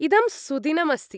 इदं सुदिनम् अस्ति।